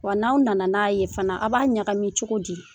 Wa n'aw nana n'a ye fana, aw b'a ɲagami cogo di?